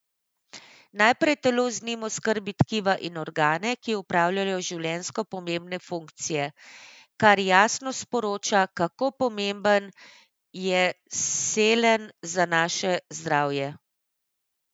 Najprej telo z njim oskrbi tkiva in organe, ki opravljajo življenjsko pomembne funkcije, kar jasno sporoča, kako pomemben je selen za naše zdravje.